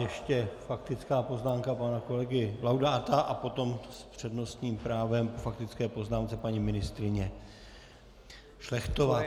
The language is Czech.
Ještě faktická poznámka pana kolegy Laudáta a potom s přednostním právem k faktické poznámce paní ministryně Šlechtová.